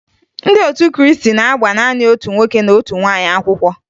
Ndị otu Krịịstị na-agba naanị otu nwoke na otu nwaanyị akwụkwọ